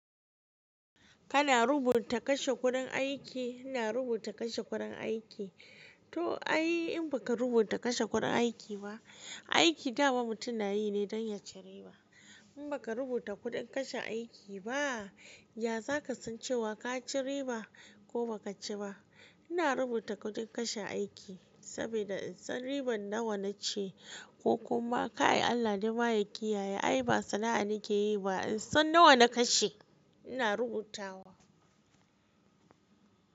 Kana rubuta kashe kudin aiki? Ina rubuta kashe kudin aiki. To ai in baka rubuta kashe kudin aiki ba, aiki da wa mutum na yi ne don ya ci riba. In baka rubuta kudin kashe aiki ba, ya za ka san cewa ka ci riba ko ba ka ci ba? Ina rubuta kudin kashe aiki saboda in san riban nawa na ci ko kuma ka yi Allah dai ma ya kiyaye ai ba sana'a nike yi ba, in san nawa na kashe. Ina rubutawa.